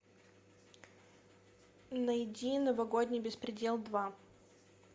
найди новогодний беспредел два